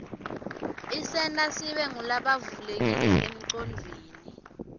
isenta sibe ngulabavulekile enqcondvweni